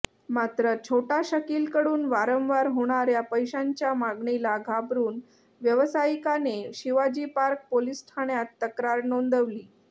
मात्र छोटा शकिलकडून वारंवार होणाऱ्या पैशांच्या मागणीला घाबरून व्यावसायिकाने शिवाजी पार्क पोलिस ठाण्यात तक्रार नोंदवली